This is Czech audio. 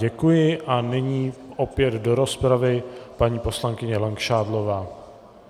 Děkuji a nyní opět do rozpravy paní poslankyně Langšádlová.